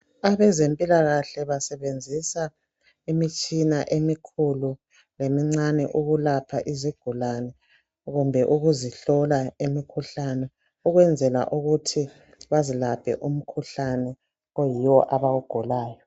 Abezemphikahle basebenzisa imitshina emikhulu lemincane okulapha izigulane kumbe ukuzihlola imikhuhlane. Ukwenzela ukuthi bazilaphe umkhuhlane oyiwo abawugulayo.